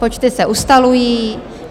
Počty se ustalují.